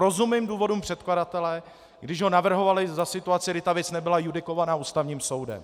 Rozumím důvodům předkladatele, když ho navrhovali za situace, kdy ta věc nebyla judikována Ústavním soudem.